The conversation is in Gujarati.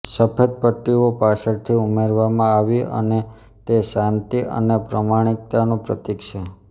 સફેદ પટ્ટીઓ પાછળથી ઉમેરવામાં આવી અને તે શાંતિ અને પ્રમાણિકતાનું પ્રતિક છે